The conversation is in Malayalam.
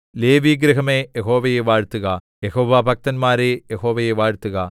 ലേവിഗൃഹമേ യഹോവയെ വാഴ്ത്തുക യഹോവാഭക്തന്മാരേ യഹോവയെ വാഴ്ത്തുക